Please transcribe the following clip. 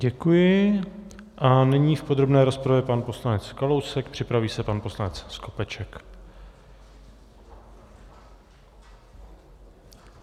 Děkuji a nyní v podrobné rozpravě pan poslanec Kalousek, připraví se pan poslanec Skopeček.